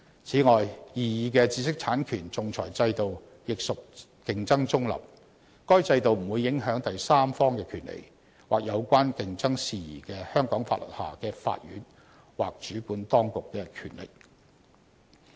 此外，擬議的知識產權仲裁制度，亦屬競爭中立。該制度不會影響第三方的權利，或有關競爭事宜的香港法律下的法院或主管當局的權力。